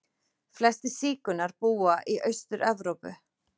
Flestir sígaunar búa í Austur-Evrópu.